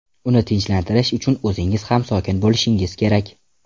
Uni tinchlantirish uchun o‘zingiz ham sokin bo‘lishingiz kerak.